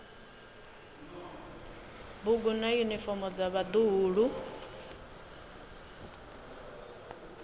bugu na yunifomo dza vhaḓuhulu